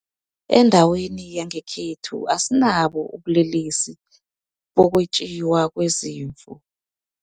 Endaweni yangekhethu asinabo ubulelesi bokwetjiwa kwezimvu.